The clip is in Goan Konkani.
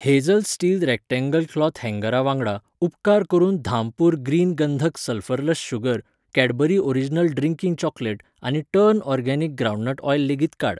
हेझल स्टील रेक्टेंगल क्लोथ हॅंगरा वांगडा, उपकार करून धामपूर ग्रीन गंधक sulphurless sugar, Cadbury original drinking चॉक्लेटआनी टर्न ऑर्गेनिक ग्राउंडनट ओयल लेगीत काड.